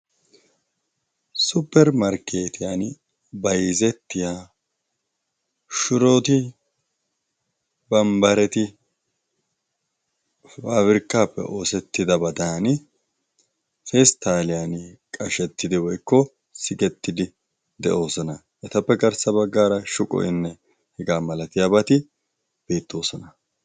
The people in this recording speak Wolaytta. Supermarkkeetiyan bayzettiya shuroti bambbareti paabirkkappe oosettidabadan seesttaaliyan qashettidi woykko sigettidi de'oosona. etappe garssa baggaara shuqoynne hegaa malatiyaabaati beettoosona.